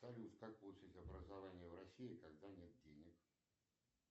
салют как получить образование в россии когда нет денег